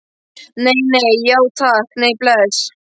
Nei, nei, já takk, nei, bless.